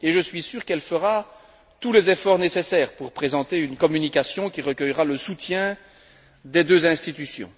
Je suis sûr qu'elle fera tous les efforts nécessaires pour présenter une communication qui recueillera le soutien des deux institutions.